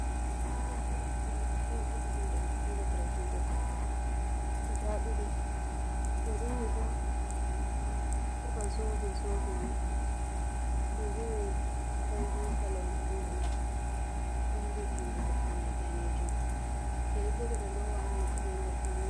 Yeri do jodi ha nebre juɗe goddo guda ɗiɗi yeri mai bo ɗo ba zobe zobe ni, yeri mai goldin kolo ɓandu mai wodi jungo goddo mai danejum yeri bo ɓe ɗo lowa ha noppi on ɓe faunira be mai.